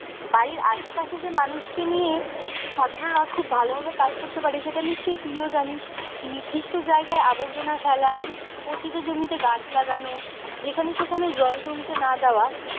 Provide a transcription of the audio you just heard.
বাড়ির আশেপাশে যে মানুষকে নিয়ে ছাত্ররা খুব ভালো ভাবে কাজ করতে পারে সেটা নিশ্চই তুইও জানিস নির্দিষ্ট জায়গায় আবর্জনা ফেলা পতিত জমিতে গাছ লাগানো যেখানে সেখানে জল জমতে না দেওয়া